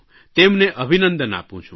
તેમને અભિનંદન આપું છું